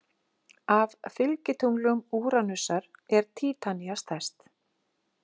Af fylgitunglum Úranusar er Títanía stærst.